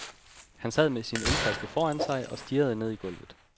Han sad med sin ølflaske foran sig og stirrede ned i gulvet.